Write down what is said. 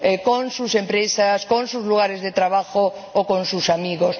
con sus empresas, con sus lugares de trabajo o con sus amigos.